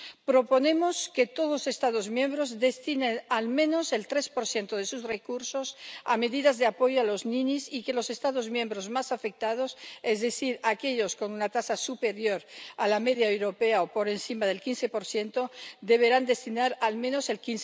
Proponemos que todos los Estados miembros destinen, al menos, el 3 de sus recursos a medidas de apoyo a los ninis y que los Estados miembros más afectados, es decir, aquellos con una tasa superior a la media europea, o por encima del 15 destinen al menos el